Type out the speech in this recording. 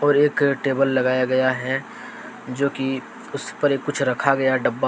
एक टेबल लगाया गया है जो कि उसपर कुछ रखा गया डब्बा --